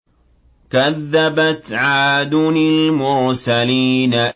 كَذَّبَتْ عَادٌ الْمُرْسَلِينَ